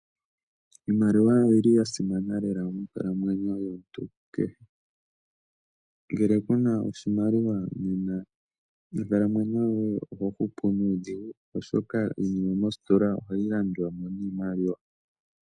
Iimaliwa oyili yasimana lela monkalamwenyo yomuntu kehe, ngele kuna oshimaliwa nena onkalamwenyo yoye oho hupu nuudhigu oshoka iinima moositola ohayi landwa niimaliwa.